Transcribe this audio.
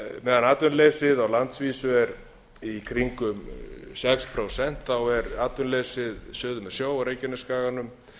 meðan atvinnuleysi á landsvísu er í kringum sex prósent er atvinnuleysi suður með sjó á reykjanesskaganum